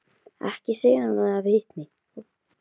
Ekki segja honum að þið hafið hitt mig.